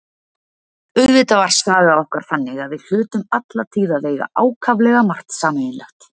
Auðvitað var saga okkar þannig að við hlutum alla tíð að eiga ákaflega margt sameiginlegt.